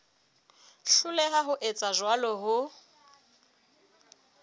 hloleha ho etsa jwalo ho